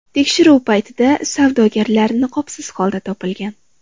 Tekshiruv paytida savdogarlar niqobsiz holda topilgan.